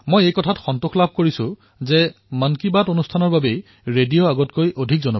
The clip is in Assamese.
মই এয়া প্ৰত্যক্ষ কৰি সুখী হৈছো যে মন কী বাতৰ ফলস্বৰূপে ৰেডিঅ আৰু অধিক জনপ্ৰিয় হৈ উঠিছে